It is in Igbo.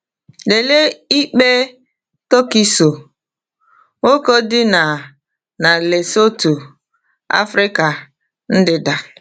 Lelee ikpe Tukiso, nwoke dị na na Lesotho, Afrịka ndịda.